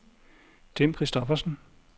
Tim Christophersen